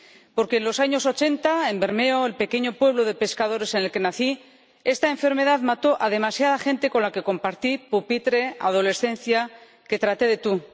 Porque en los años 80, en Bermeo, el pequeño pueblo de pescadores en el que nací, esta enfermedad mató a demasiada gente con la que compartí pupitre, adolescencia, que traté de tú.